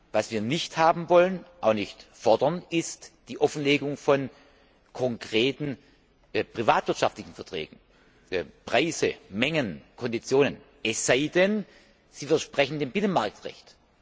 Was wir nicht haben wollen und auch nicht fordern, ist die Offenlegung von konkreten privatwirtschaftlichen Verträgen Preise, Mengen, Konditionen es sei denn, sie widersprechen dem Binnenmarktrecht.